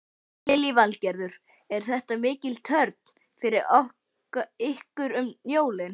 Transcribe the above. Lillý Valgerður: Er þetta mikil törn fyrir ykkur um jólin?